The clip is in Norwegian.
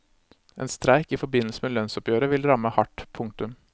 En streik i forbindelse med lønnsoppgjøret vil ramme hardt. punktum